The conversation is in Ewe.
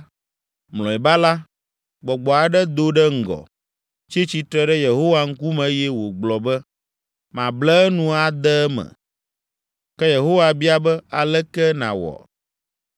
Mlɔeba la, gbɔgbɔ aɖe do ɖe ŋgɔ, tsi tsitre ɖe Yehowa ŋkume eye wògblɔ be, ‘Mable enu ade eme.’ “Ke Yehowa bia be, ‘Aleke nawɔe?’